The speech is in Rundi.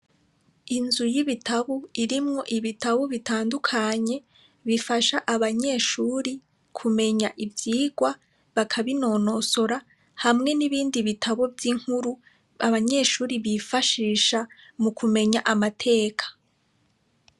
Inzu y'ibitabo irimwo ibitabo bitandukanye, bifasha abanyeshure kumenya ivyigwa, bakabinonosora hamwe n'ibindi bitabo vy'inkuru abanyeshure bifashisha mu kumenya amateka.